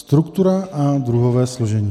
Struktura a druhové složení.